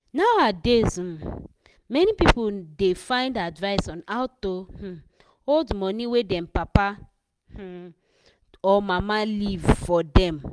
nowadays um many people da find advice on how to um hold money wey them papa um or mama leave forr dem